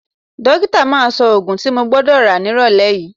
Dókítà máa sọ òògùn tí mo gbọ́dọ̀ rà nírọ̀lẹ́ yìí